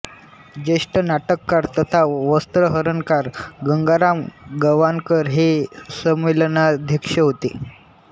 ज्येष्ठ नाटककार तथा वस्त्रहरणकार गंगाराम गवाणकर हे संमेलनाध्यक्ष होते